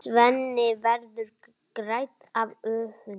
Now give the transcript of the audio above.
Svenni verður grænn af öfund.